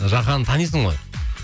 жаханды танисың ғой